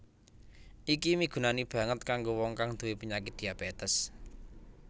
Iki migunani banget kanggo wong kang nduwé penyakit diabétes